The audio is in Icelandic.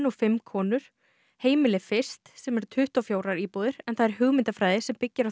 Heimili fyrst sem er tuttugu og fjórar íbúðir en það er hugmyndafræði sem byggir á því að öruggt húsnæði sé